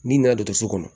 N'i nana dɔgɔtɔrɔso kɔnɔ